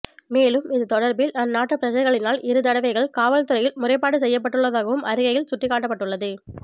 மேலும் இது தொடர்பில் அந்நாட்டுப் பிரஜைகளினால் இரு தடவைகள் காவல்துறையில் முறைப்பாடு செய்யப்பட்டள்ளதாகவும் அறிக்கையில் சுட்டிக்காட்டப்பட்டுள்ளது